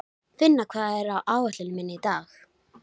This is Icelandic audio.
Eru þessum aðilum hér með færðar þakkir fyrir stuðninginn.